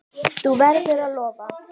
Þú verður að lofa!